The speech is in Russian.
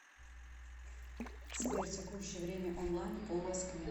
сбер текущее время онлайн по москве